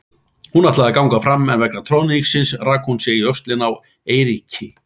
Hún ætlaði að ganga áfram en vegna troðningsins rak hún sig í öxlina á Eiríki.